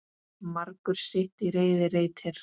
Margur sitt í reiði reytir.